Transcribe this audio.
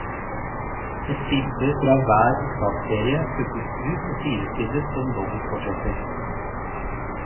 Ett bilde fra hver opptaksserie plukkes ut og sidestilles som dobbeltportretter.